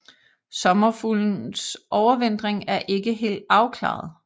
Sommerfuglens overvintring er ikke helt afklaret